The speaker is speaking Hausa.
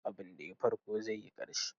Duk abinda ya yi farko zai yi ƙarshe.